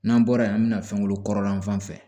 N'an bɔra yen an bɛna fɛn wolo kɔrɔlen fan fɛ